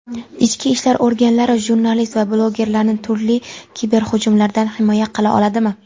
Ichki ishlar organlari jurnalist va blogerlarni turli kiberhujumlardan himoya qila oladimi?.